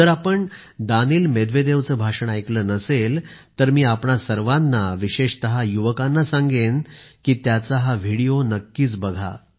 जर आपण दानील मेदवेदेवचे भाषण ऐकले नसेल तर मी आपणा सर्वांना विशेषतः युवकांना सांगेन की त्यांचा हा व्हिडिओ नक्कीच बघा